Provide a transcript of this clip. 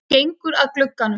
Hann gengur að glugganum.